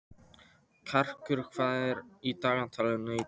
Karkur, hvað er á dagatalinu í dag?